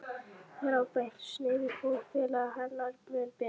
Þráðbeint sniðið fór félaga hennar mun betur.